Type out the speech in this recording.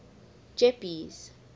jeppes